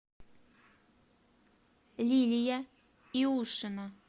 лилия иушина